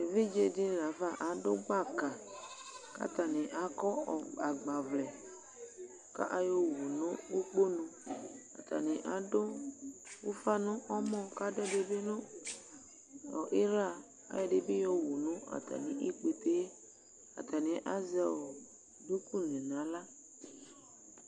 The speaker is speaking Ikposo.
eʋɩɗjeɗɩnɩlafa aɗʊ gɓaƙa atanɩ aƙɔ agɓaʋlɛ ƙʊ aƴɔwʊnʊ ʊƙponʊ atanɩ aɗʊ ʊfanʊ ɛmɔ aɗʊɛɗɩɓɩnʊ ɩhla aƴɔ ɛɗɩɓɩ aƴɔwʊ nʊ atamɩ ɩƙpete atanɩ azɛ ɗʊƙʊ nu ahla